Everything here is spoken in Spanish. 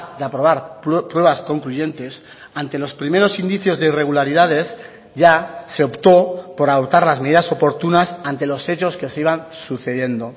de aprobar pruebas concluyentes ante los primeros indicios de irregularidades ya se optó por adoptar las medidas oportunas ante los hechos que se iban sucediendo